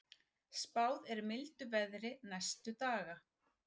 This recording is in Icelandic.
Spáð er mildu veðri næstu daga